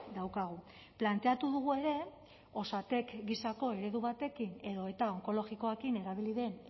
daukagu planteatu dugu ere osatek gisako eredu batekin edo eta onkologikoarekin erabili den